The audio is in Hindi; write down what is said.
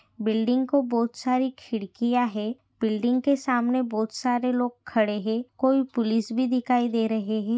बिल्डिंग को बहुत सारी खिड़किया है बिल्डिंग के सामने बहुत सारे लोग खड़े है कोई पुलीस भी दिखाई दे रही है।